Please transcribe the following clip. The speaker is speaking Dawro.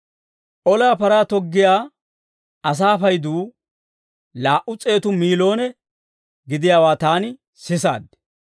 Olaa paraa toggiyaa asaa payduu laa"u s'eetu miiloone gidiyaawaa taani sisaad.